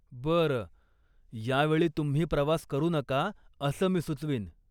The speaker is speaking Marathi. बरं. यावेळी तुम्ही प्रवास करू नका असं मी सुचवीन.